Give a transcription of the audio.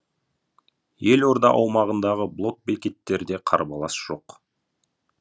елорда аумағындағы блокбекеттерде қарбалас жоқ